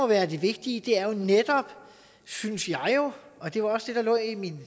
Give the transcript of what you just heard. være det vigtige er jo netop synes jeg og det var også det der lå i min